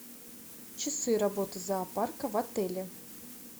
часы работы зоопарка в отеле